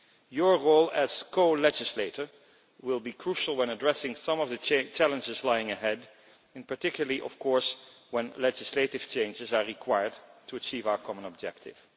Your role as co legislator will be crucial when addressing some of the challenges lying ahead, particularly, of course, when legislative changes are required to achieve our common objective.